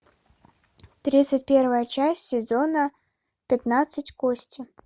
тридцать первая часть сезона пятнадцать кости